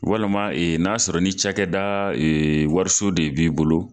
Walama n'a sɔrɔ ni cakɛda wariso de b'i bolo